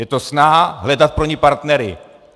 Je to snaha hledat pro ni partnery.